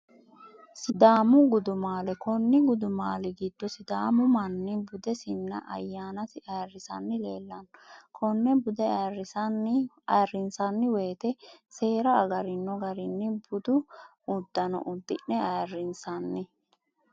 Sidaamu gudumaale, konni gudumali gido sidaamu manni budesinna ayyaanasi ayirisanni leellanno, kone bude ayyirinsani woyite seera agarinno garinni budu udanno udi'ne ayirinsanni